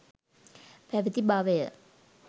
පැවැති බවය.